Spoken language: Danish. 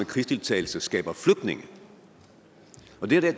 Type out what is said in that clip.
krigsdeltagelse skaber flygtninge